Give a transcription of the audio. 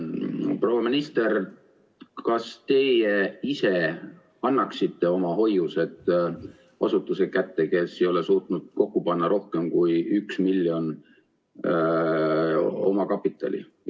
Proua minister, kas teie ise annaksite oma hoiused asutuse kätte, kes ei ole suutnud kokku panna rohkem kui 1 miljon eurot omakapitali?